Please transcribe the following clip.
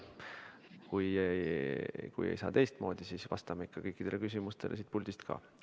Kui ei saa teistmoodi, siis vastame ikka kõikidele küsimustele siit puldist ka.